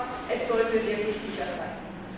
Aber es sollte wirklich sicher sein.